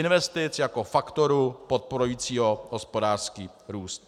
Investic jako faktoru podporujícího hospodářský růst.